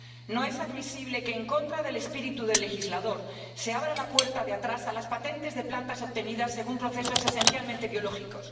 No es admisible que, en contra del espíritu del legislador, se abra la puerta de atrás a las patentes de plantas obtenidas según procesos esencialmente biológicos.